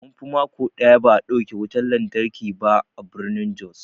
Munfi mako ɗaya ba'a dauke wutan lantarki ba a birnin jos.